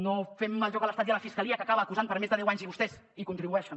no fem el joc a l’estat i a la fiscalia que acaba acusant per més de deu anys i vostès hi contribueixen